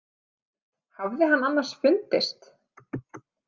Hafði hann annars fundist?